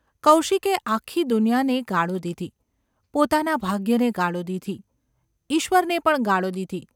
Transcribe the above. કૌશિકે આખી દુનિયાને ગાળો દીધી; પોતાના ભાગ્યને ગાળો દીધી; ઈશ્વરને પણ ગાળો દીધી.